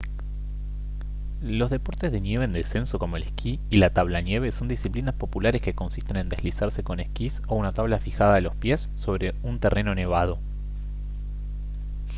los deportes de nieve en descenso como el esquí y la tablanieve son disciplinas populares que consisten en deslizarse con esquís o una tabla fijada a los pies sobre un terreno nevado